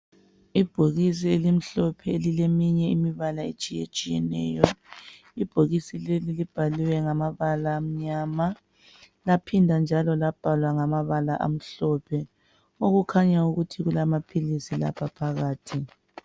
Ibhokisi elimhlophe elileminye imibala etshiyetshiyeneyo ibhokisi lelo libhaliwe ngamabala amnyama laphinda njalo labhalwa ngamabala amhlophe okukhanya ukuthi kulamaphilisi lapha.